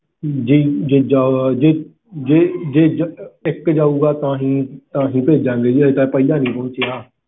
ਜੇ ਜਾ~ਜੇ ਜੇ ਇੱਕ ਜਾਊਗਾ ਤਾਹਿ ਭੇਜਾਂਗੇ ਜੀ ਹਜੇ ਤਾਂ ਪਹਿਲਾ ਨਹੀਂ ਪਹੁੰਚਿਆ